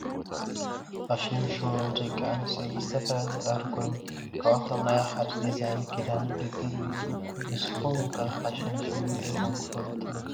ፋሽን ሸው ብደቂ ኣንስትዮ ብዝተፈላለየ ዝቀርብ ኮይኑ ካብኣቶም ሓደ ናይ ዲዛይናት ክዳን ውድድር እዩ። ንሱኩም ከ ፋሽን ሸው ሪኢኩም ዶ ትፈልጡ ?